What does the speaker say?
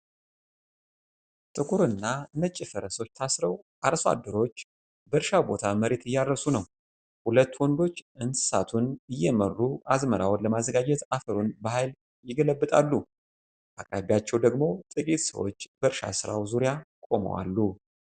ጥቁርና ነጭ ፈረሶች ታስረው አርሶ አደሮች በእርሻ ቦታ መሬት እያርፈሱ ነው። ሁለት ወንዶች እንስሳቱን እየመሩ አዝመራውን ለማዘጋጀት አፈሩን በኃይል ይገለብጣሉ። በአቅራቢያቸው ደግሞ ጥቂት ሰዎች በእርሻ ሥራው ዙሪያ ቆመው አሉ።